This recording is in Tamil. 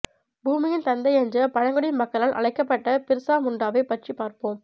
பூமியின் தந்தை என்று பழங்குடி மக்களால் அழைக்கப்பட்ட பிர்சா முண்டாவை பற்றி பார்ப்போம்